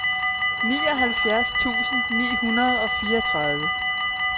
nioghalvfjerds tusind ni hundrede og fireogtredive